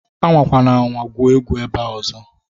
Anwakwana anwa gwuo egwu ebea ọzọ!